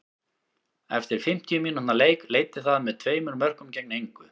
Eftir fimmtíu mínútna leik leiddi það með tveimur mörkum gegn engu.